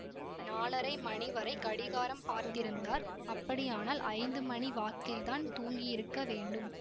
நாலரை மணி வரை கடிகாரம் பார்த்திருந்தார் அப்படியானால் ஐந்து மணி வாக்கில்தான் தூங்கியிருக்க வேண்டும்